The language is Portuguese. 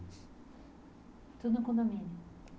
Tudo no condomínio?